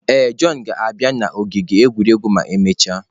Ee, Jọn ga-abịa n'ọgbọ egwuregwu ma emechaa.